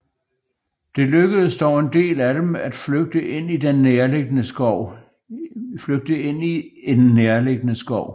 Det lykkedes dog en del af dem at flygte ind i en nærliggende skov